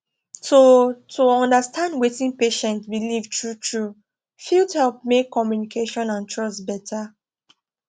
to to understand wetin patient believe truetrue fit help make communication and trust better